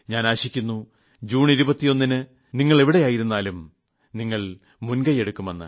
ഞാൻ ആശിക്കുന്നു ജൂൺ 21 ന് നിങ്ങൾ എവിടെയായിരുന്നാലും നിങ്ങൾ മുൻകൈയെടുക്കുമെന്ന്